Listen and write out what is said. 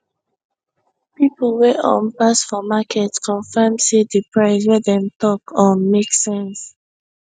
people wey um pass for market confirm say the price wey dem talk um make sense